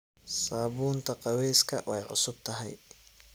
Sabunta qaweska way cusubthy.